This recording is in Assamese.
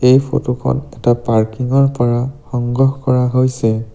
এই ফটো খন এটা পাৰ্কিং ৰ পৰা সংগ্ৰহ কৰা হৈছে।